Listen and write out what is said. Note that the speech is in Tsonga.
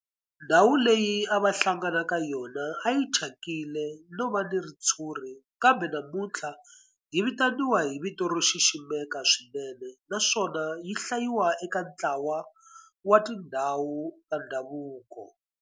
Ndhawu leyi a va hlangana ka yona a yi thyakile no va na ritshuri kambe namuntlha yi vitaniwa hi vito ro xiximeka swinene naswona yi hlayiwa eka ntlawa wa tindhawu ta ndhavuko.